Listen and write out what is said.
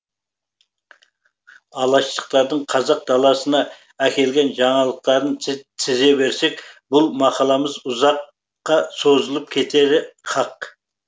алаштықтардың қазақ даласына әкелген жаңалықтарын тізе берсек бұл мақаламыз ұзаққа созылып кетері хақ